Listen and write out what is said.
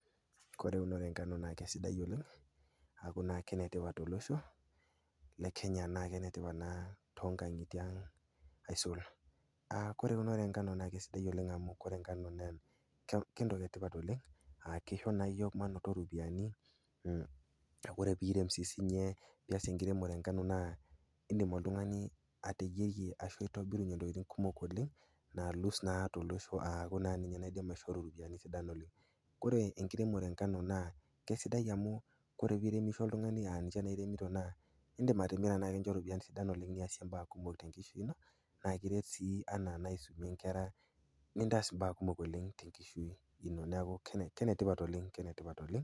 Ore eunoto engano naa sidai oleng aaku naa kenetipat to losho le Kenya naake enetipat naa toonkang'itie ang aisul. Ore eunore engano naa sidai oleng amu ore engano naa entoki e tipat oleng a keishoo naa iyook mainoto iropiani, ore pee irem, pias enkiremore engamo naa indim oltung'ani ateyierie ashu aitobirunye intokitin kumok oleng, nalus naa tolosho, aaku naa ninye naidim aishoru iropiani. Ore enkiremore engano naa kesidai amu ore pee iremisho oltung'ani a ninche naa iremito naa indim atimira nekincho iropiani sidan olkeng niasie imbaa kumok tenkishui ino, naa kiret sii anaa aisomie inkera nintaas imbaa kumok oleng tenkishui ino. Neaku, kenetipat oleng, keketipat oleng.